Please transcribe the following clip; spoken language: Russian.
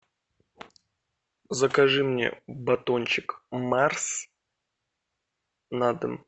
закажи мне батончик марс на дом